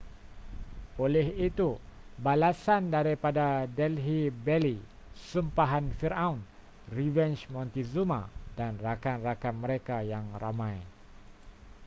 oleh itu balasan daripada delhi belly sumpahan firaun revenge montezuma dan rakan-rakan mereka yang ramai